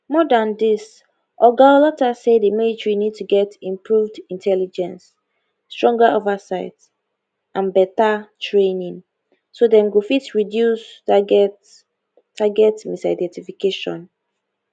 more than dis oga olottah say di military need to get improved intelligence stronger oversight and beta training so dem go fit reduce target target misidentification